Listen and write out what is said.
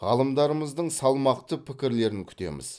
ғалымдарымыздың салмақты пікірлерін күтеміз